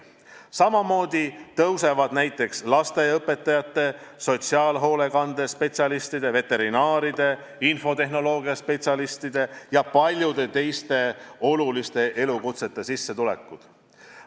Samamoodi tõusevad näiteks lasteaiaõpetajate, sotsiaalhoolekande spetsialistide, veterinaaride, infotehnoloogia spetsialistide ja paljude teiste oluliste elukutsete esindajate sissetulekud.